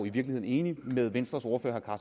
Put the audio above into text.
i virkelig enig med venstres ordfører